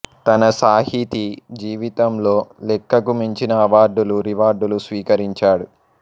తన సాహితీ జీవితంలో లెక్కకు మించిన అవార్డులు రివార్డులు స్వీకరించాడు